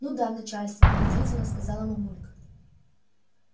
ну да начальство подозрительно сказала мамулька